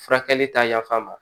Furakɛli ta yafa ma